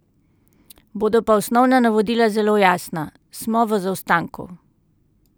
Bodo pa osnovna navodila zelo jasna: "Smo v zaostanku.